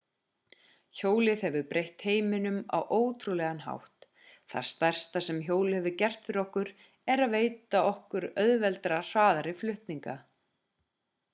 hjólið hefur breytt heiminum á ótrúlegan hátt það stærsta sem hjólið hefur gert fyrir okkur er að veita okkur mun auðveldari og hraðari flutninga